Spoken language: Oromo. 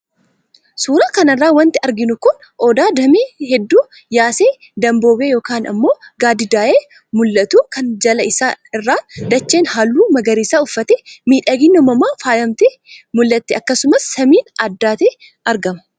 Suuraa kana irraa wanti arginu muka Odaa damee hedduu yaasee, damboobee yookaan ammoo gaaddiddaa'ee mul'atu kan jala isaa irraan dacheen halluu magariisa uffattee miidhagina uumamaan faayamtee mul'atti akkasumas samiin addaatee argama.